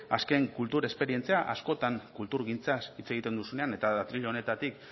azken kultur esperientzia askotan kulturgintzaz hitz egiten duzunean eta atril honetatik